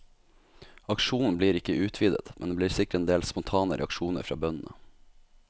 Aksjonen blir ikke utvidet, men det blir sikkert endel spontane reaksjoner fra bøndene.